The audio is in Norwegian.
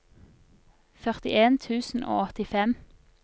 førtien tusen og åttifem